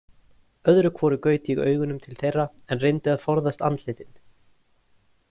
Öðru hvoru gaut ég augunum til þeirra en reyndi að forðast andlitin.